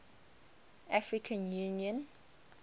african union au